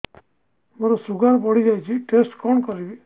ମୋର ଶୁଗାର ବଢିଯାଇଛି ଟେଷ୍ଟ କଣ କରିବି